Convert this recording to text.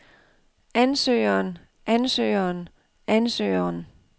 ansøgeren ansøgeren ansøgeren